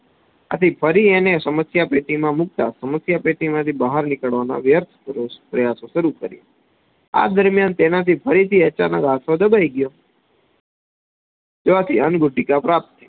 આથી ફરી એને સમસ્યા પેટીમાં મુક્ત સમસ્યા પેટીમાંથી બહાર નીકળવાનો વ્યર્થ પ્રયાસો શરુ કર્યા આ દરમ્યાન તેનાથી ફરી થી અચાનક હાથો દબાઈ ગયો ત્યાંથી અંગુટીકા પ્રાપ્ત થઇ